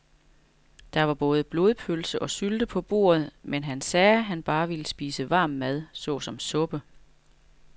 Der var både blodpølse og sylte på bordet, men han sagde, at han bare ville spise varm mad såsom suppe.